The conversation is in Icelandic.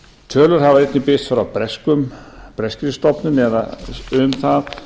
tölur hafa einnig birst frá breskri stofnun um það